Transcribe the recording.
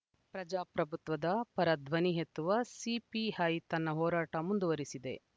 ಪ್ರಜಾಪ್ರಭುತ್ವದ ಪರ ಧ್ವನಿ ಎತ್ತುವ ಸಿಪಿಐ ತನ್ನ ಹೋರಾಟ ಮುಂದುವರಿಸಿದೆ